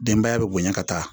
Denbaya bɛ bonya ka taa